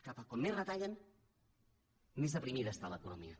que com més retallen més deprimida està l’economia